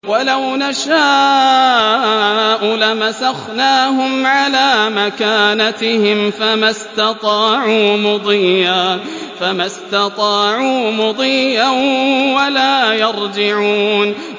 وَلَوْ نَشَاءُ لَمَسَخْنَاهُمْ عَلَىٰ مَكَانَتِهِمْ فَمَا اسْتَطَاعُوا مُضِيًّا وَلَا يَرْجِعُونَ